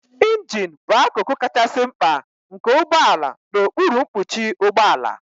Ịnjin bụ akụkụ kachasị mkpa nke ụgbọ ala n'okpuru mkpuchi ụgbọ ala.